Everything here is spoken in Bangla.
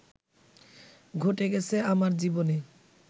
ঘটে গেছে আমার জীবনে